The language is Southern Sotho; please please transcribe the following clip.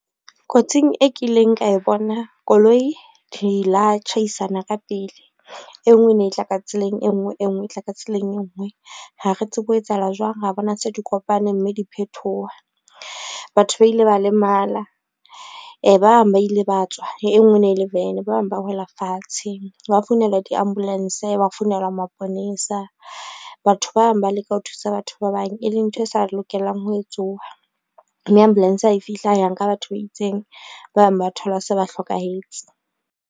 Kotsing e kileng ka e bona koloi di la tjhaisana ka pele. E ngwe e ne e tla ka tseleng e ngwe, e ngwe e tla ka tseleng e ngwe ha re tsebe ho etsahala jwang, ra bona se di kopane mme di phethoha. Batho ba ile ba lemala ba bang ba ile ba tswa, le e ngwe e ne e le van ba bang ba wela fatshe, hwa founela di-ambulance hwa founela maponesa. Batho bang ba leka ho thusa batho ba bang, e leng ntho e sa lokelang ho etsuha, mme ambulance ha e fihla ya nka batho ba itseng, ba bang ba thola se ba hlokahetse.